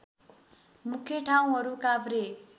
मुख्य ठाउँहरू काभ्रे